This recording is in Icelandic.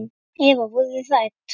Eva: Voruð þið hrædd?